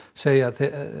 segja að